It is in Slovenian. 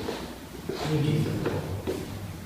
Ni čisto tako.